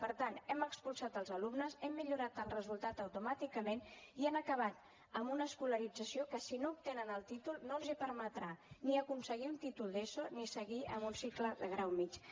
per tant hem expulsat els alumnes hem millorat el resultat automàticament i han acabat amb una escolarització que si no obtenen el títol no els permetrà ni aconseguir un títol d’eso ni seguir amb un cicle de grau mitjà